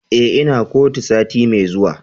Eh, Ina kotu sati Mai zuwa.